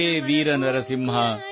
ಹೇ ವೀರ ನರಸಿಂಹ